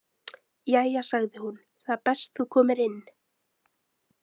Jæja sagði hún, það er best þú komir inn.